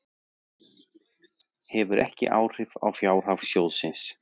Hefur ekki áhrif á fjárhag sjóðsins